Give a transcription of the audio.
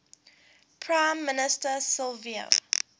prime minister silvio